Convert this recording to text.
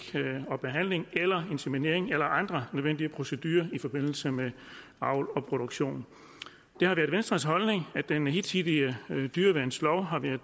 og behandling eller inseminering eller andre nødvendige procedurer i forbindelse med avl og produktion det har været venstres holdning at den hidtidige dyreværnslov har været